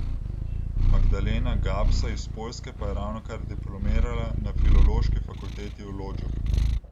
Magdalena Gapsa iz Poljske pa je ravnokar diplomirala na Filološki fakulteti v Lodžu.